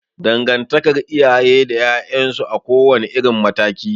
Dangantakar iyaye da 'ya'yan su a kowa ne irin mataki